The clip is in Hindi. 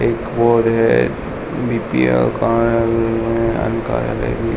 एक बोर्ड है बीपीएल --